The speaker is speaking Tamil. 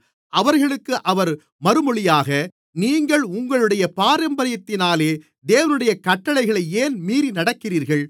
அவர்களுக்கு அவர் மறுமொழியாக நீங்கள் உங்களுடைய பாரம்பரியத்தினாலே தேவனுடைய கட்டளையை ஏன் மீறி நடக்கிறீர்கள்